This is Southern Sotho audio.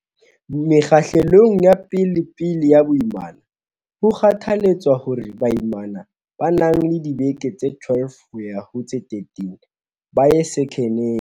Mekgahlelong ya pe lepele ya boimana, ho kgothaletswa hore baimana ba nang le dibeke tse 12 yo ha ho tse 13 ba ye sekheneng.